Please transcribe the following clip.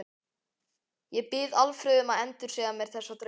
Ég bið Alfreð um að endursegja mér þessa drauma.